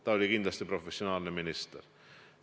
Ta oli kindlasti professionaalne minister.